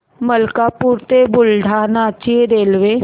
मलकापूर ते बुलढाणा ची रेल्वे